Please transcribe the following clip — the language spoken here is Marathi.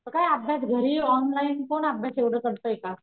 म काय अभ्यास घरी ऑनलाईन कोण अभ्यास एवढं करतय का?